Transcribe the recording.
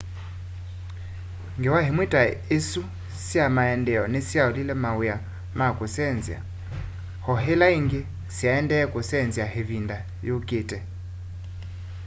ngewa imwe ta isu sya maendeeo nisyaolile mawia ma kusenzya o ila ingi syaendee kusenzya ivinda yukite